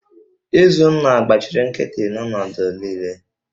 Izunna gbachiri nkịtị n'ọnọdụ niile